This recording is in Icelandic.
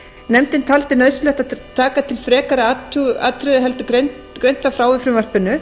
nefndin taldi nauðsynlegt að taka til frekari athugunar heldur en greint var frá í frumvarpinu